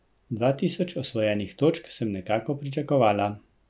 Dva tisoč osvojenih točk sem nekako pričakovala.